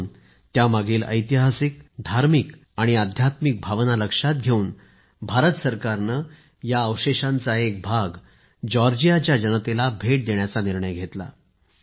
म्हणून त्यांचं ऐतिहासिक धार्मिक आणि अध्यात्मिक भावना लक्षात घेऊन भारत सरकारने या अवशेषांचा एक भाग जॉर्जियाच्या जनतेला भेट देण्याचा निर्णय घेतला